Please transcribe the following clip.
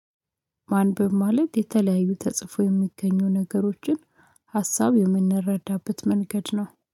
ማንበብ ማለት የተለያዩ ተጽፎ የሚገኙ ነገሮችን ሀሳብ የምንረዳበት መንገድ ነው።